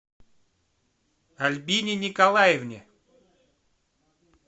альбине николаевне